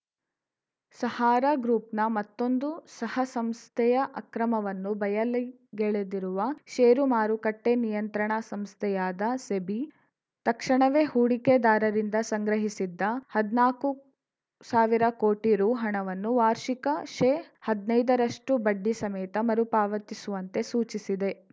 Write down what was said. ಸಹಾರಾ ಗ್ರೂಪ್‌ನ ಮತ್ತೊಂದು ಸಹಸಂಸ್ಥೆಯ ಅಕ್ರಮವನ್ನು ಬಯಲಿಗೆಳೆದಿರುವ ಷೇರುಮಾರುಕಟ್ಟೆನಿಯಂತ್ರಣಾ ಸಂಸ್ಥೆಯಾದ ಸೆಬಿ ತಕ್ಷಣವೇ ಹೂಡಿಕೆದಾರರಿಂದ ಸಂಗ್ರಹಿಸಿದ್ದ ಹದ್ನಾಕು ಸಾವಿರ ಕೋಟಿ ರು ಹಣವನ್ನು ವಾರ್ಷಿಕ ಶೇಹದ್ನೈದ ರಷ್ಟುಬಡ್ಡಿ ಸಮೇತ ಮರುಪಾವತಿಸುವಂತೆ ಸೂಚಿಸಿದೆ